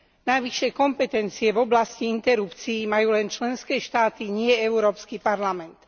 Navyše kompetencie v oblasti interrupcií majú len členské štáty, nie Európsky parlament.